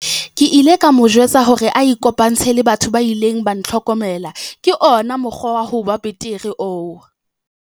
Ke ile ka mo jwetsa hore a ikopantshe le batho ba ileng ba ntlhokomela - ke ona mokgwa wa ho ba betere oo.